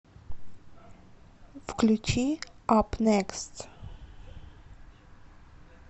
включи ап некст